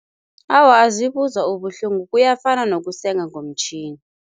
Awa, azibuzwa ubuhlungu. Kuyafana nokusenga ngomtjhini.